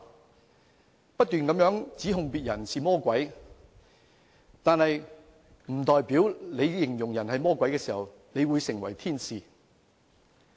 他們不斷指控別人是魔鬼，但在形容別人是魔鬼時，並不代表自己是天使。